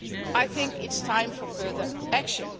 I think it is time for further action.